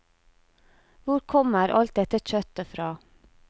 Hvor kommer alt dette kjøttet fra?